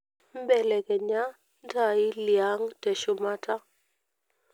belekenya ntaai liang teshumata